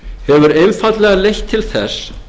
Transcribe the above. hefur einfaldlega leitt til þess